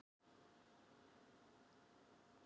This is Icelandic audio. Ók í veg fyrir smábíl